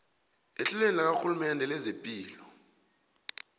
ehlelweni lakarhulumende lezepilo